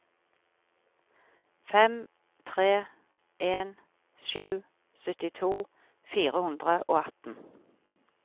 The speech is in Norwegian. fem tre en sju syttito fire hundre og atten